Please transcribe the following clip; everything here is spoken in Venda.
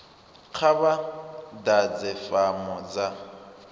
kha vha ḓadze fomo dza